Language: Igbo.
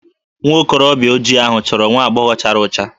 Nwa okorobịa ojii ahụ chọrọ nwa agbọghọ chara ọcha